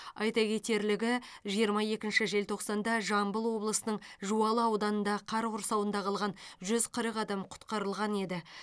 айта кетерлігі жиырма екінші желтоқсанда жамбыл облысының жуалы ауданында қар құрсауында қалған жүз қырық адам құтқарылған еді